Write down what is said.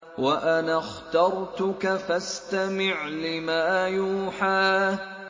وَأَنَا اخْتَرْتُكَ فَاسْتَمِعْ لِمَا يُوحَىٰ